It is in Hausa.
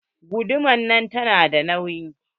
Guduman nan tana da nauyi.